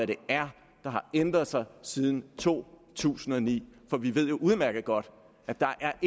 det er der har ændret sig siden to tusind og ni for vi ved jo udmærket godt at